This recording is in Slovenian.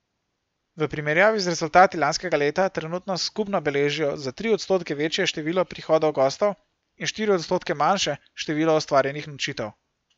V primerjavi z rezultati lanskega leta trenutno skupno beležijo za tri odstotke večje število prihodov gostov in štiri odstotke manjše število ustvarjenih nočitev.